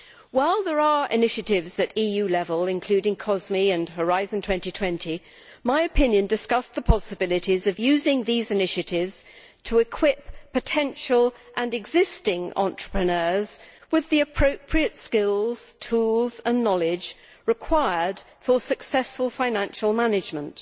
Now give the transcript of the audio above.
While there are initiatives at EU level, including COSME and Horizon 2020, my opinion discussed the possibilities of using these initiatives to equip potential and existing entrepreneurs with the appropriate skills, tools and knowledge required for successful financial management.